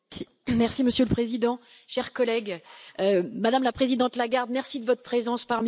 Monsieur le Président, chers collègues, Madame la Présidente Lagarde, merci de votre présence parmi nous